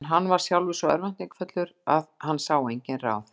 En hann var sjálfur svo örvæntingarfullur að hann sá engin ráð.